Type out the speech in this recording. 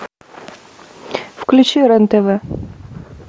включи рен тв